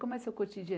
Como é seu